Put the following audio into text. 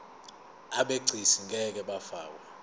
abegcis ngeke bafakwa